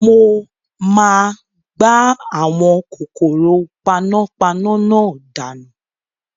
Mo máa gbá àwọn kòkòrò panápaná náà dànù